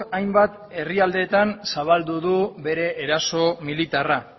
hainbat herrialdeetan zabaldu du bere eraso militarra